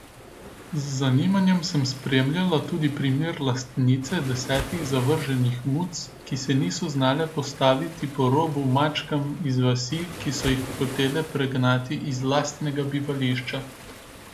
Z zanimanjem sem spremljala tudi primer lastnice desetih zavrženih muc, ki se niso znale postaviti po robu mačkam iz vasi, ki so jih hotele pregnati iz lastnega bivališča.